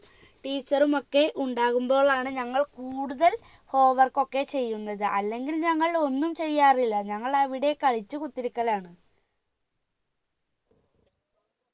teacher മൊക്കെ ഉണ്ടാകുമ്പോളാണ് ഞങ്ങൾ കൂടുതൽ home work ഒക്കെ ചെയ്യുന്നത് അല്ലെങ്കിൽ ഞങ്ങൾ ഒന്നും ചെയ്യാറില്ല ഞങ്ങൾ അവിടെ കളിച്ച് കുത്തിരിക്കലാണ്